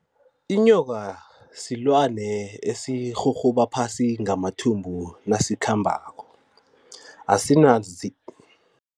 Inyoka silwane esirhurhuba phasi ngamathumbu nasikhambako asinazi